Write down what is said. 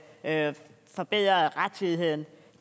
at forbedre rettidigheden